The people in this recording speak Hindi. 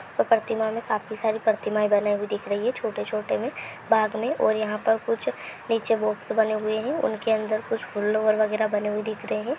प्रतिमा में काफी सारे प्रतिमा दिखाई दे रही हैं छोटे छोटे में बैग में और ये पर आला कुछ बॉक्स बने हुए है उनके ऊपर बॉक्स बने दिख रहे हैं।